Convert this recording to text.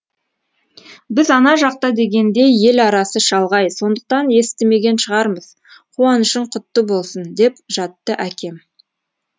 біз ана жақта дегендей ел арасы шалғай сондықтан естімеген шығармыз қуанышың құтты болсын деп жатты әкем